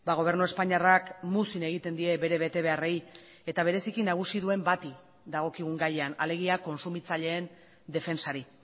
gobernu espainiarrak muzin egiten die bere betebeharrei eta bereziki nagusi duen bati dagokigun gaian alegia kontsumitzaileen defentsari